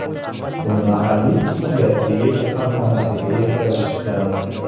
Uni mahalliy psixiatriya kasalxonasiga yetkazishgan.